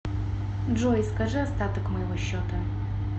джой скажи остаток моего счета